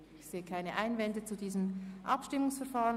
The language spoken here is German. Ich sehe keine Einwände gegen dieses Abstimmungsverfahren.